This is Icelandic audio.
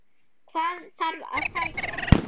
Hvað þarf að sækja?